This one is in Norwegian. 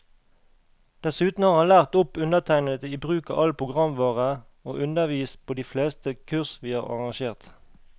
Dessuten har han lært opp undertegnede i bruk av all programvare, og undervist på de fleste kurs vi har arrangert.